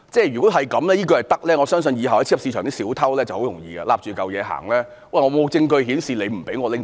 如果這樣也可以，我相信以後在超級市場的小偷便可以申辯說："沒有證據顯示你不准我拿走。